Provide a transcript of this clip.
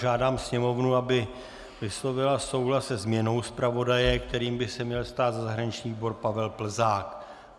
Žádám Sněmovnu, aby vyslovila souhlas se změnou zpravodaje, kterým by se měl stát za zahraniční výbor Pavel Plzák.